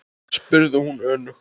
spurði hún önug.